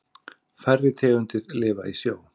Færri tegundir lifa í sjó.